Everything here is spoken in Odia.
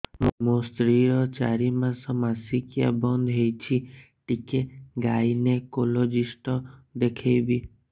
ମୋ ସ୍ତ୍ରୀ ର ଚାରି ମାସ ମାସିକିଆ ବନ୍ଦ ହେଇଛି ଟିକେ ଗାଇନେକୋଲୋଜିଷ୍ଟ ଦେଖେଇବି